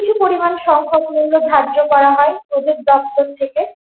কিছু পরিমান সংখক মূল্য ধার্য করা হয় ওদের দপ্তর থেকে।